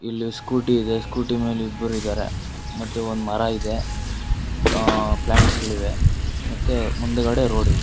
ಇಲ್ಲಿ ಸ್ಕೂಟಿ ಇದೆ ಸ್ಕೂಟಿ ಮೇಲೆ ಇಬ್ಬರಿದಾರೆ ಮತ್ತೆ ಒಂದು ಮರ ಇದೆ ಆ- ಪ್ಲಾಂಟ್ಸ್ ಗಳಿವೆ ಮತ್ತೆ ಮುಂದುಗಡೆ ರೋಡ್ ಇದೆ.